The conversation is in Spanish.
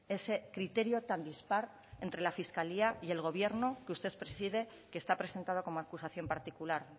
ese criterio tan dispar entre la fiscalía y el gobierno que usted preside que está presentado como acusación particular